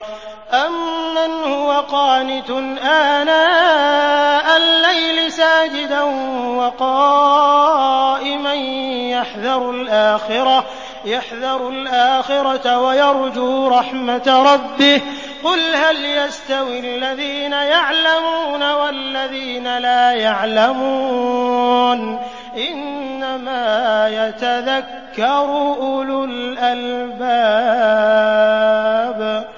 أَمَّنْ هُوَ قَانِتٌ آنَاءَ اللَّيْلِ سَاجِدًا وَقَائِمًا يَحْذَرُ الْآخِرَةَ وَيَرْجُو رَحْمَةَ رَبِّهِ ۗ قُلْ هَلْ يَسْتَوِي الَّذِينَ يَعْلَمُونَ وَالَّذِينَ لَا يَعْلَمُونَ ۗ إِنَّمَا يَتَذَكَّرُ أُولُو الْأَلْبَابِ